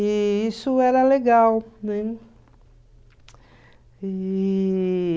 E isso era legal, né? E...